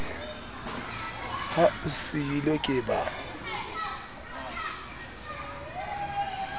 ha o seilwe ke ba